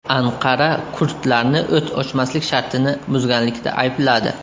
Anqara kurdlarni o‘t ochmaslik shartini buzganlikda aybladi.